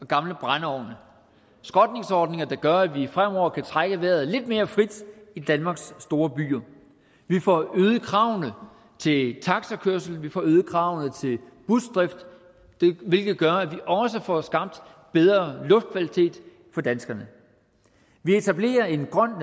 gamle brændeovne skrotningsordninger der gør at vi fremover kan trække vejret lidt mere frit i danmarks store byer vi får øget kravene til taxakørsel og vi får øget kravene til busdrift hvilket gør at vi også får skabt bedre luftkvalitet for danskerne vi etablerer en grøn